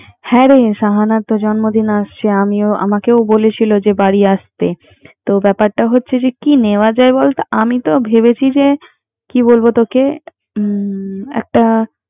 হ্যারে শাহানার তো জন্মদিন আসেছে আমিও আমাকে বলেছিও যে বাড়ি আসেতে তো ব্যাপারটা হচ্ছে, কি নেয়া যায় বোলত? আম তো ভেবেছি যে